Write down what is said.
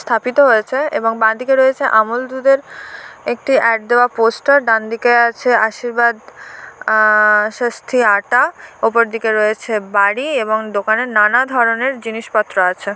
স্থাপিত হয়েছে এবং বাঁদিকে রয়েছে আমল দুধের একটি এড দেওয়া পোস্টার ডানদিকে আছে আশীর্বাদ আ ষষ্ঠী আটা-আ উপর দিকে রয়েছে বাড়ি এবং দোকানের নানা ধরনের জিনিসপত্র আছে।